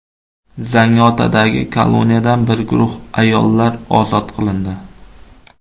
Zangiotadagi koloniyadan bir guruh ayollar ozod qilindi.